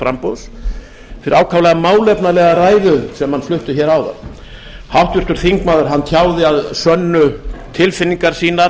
framboðs fyrir ákaflega málefnalega ræðu sem hann flutti hér áðan háttvirtur þingmaður tjáði að sönnu tilfinningar sínar